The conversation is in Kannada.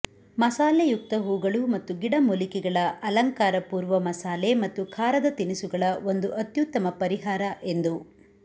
ಮಸಾಲೆಯುಕ್ತ ಹೂಗಳು ಮತ್ತು ಗಿಡಮೂಲಿಕೆಗಳ ಅಲಂಕಾರ ಪೂರ್ವ ಮಸಾಲೆ ಮತ್ತು ಖಾರದ ತಿನಿಸುಗಳ ಒಂದು ಅತ್ಯುತ್ತಮ ಪರಿಹಾರ ಎಂದು